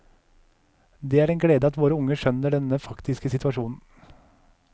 Det er en glede at våre unge skjønner denne faktiske situasjonen.